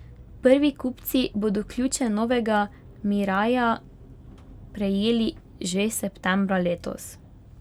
Prvi kupci bodo ključe novega miraija prejeli že septembra letos.